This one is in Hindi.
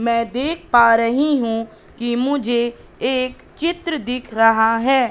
मैं देख पा रही हूं कि मुझे एक चित्र दिख रहा है।